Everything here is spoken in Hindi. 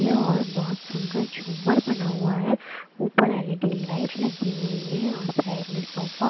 यह और बहुत सुंदर झूमर बना हुआ है ऊपर एल_ई_डी लाइट लगी हुई है और साइड में सोफा--